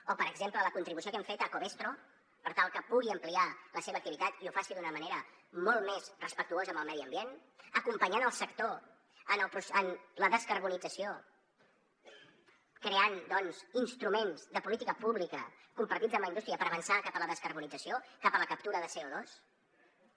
o per exemple la contribució que hem fet a covestro per tal que pugui ampliar la seva activitat i ho faci d’una manera molt més respectuosa amb el medi ambient acompanyant el sector en la descarbonització creant doncs instruments de política pública compartits amb la indústria per avançar cap a la descarbonització cap a la captura de co2